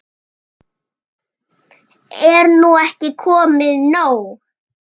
Er nú ekki komið nóg?